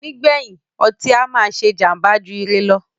Nígbèyìn, ọtí á máà ṣé jàmbá jù ire lọ.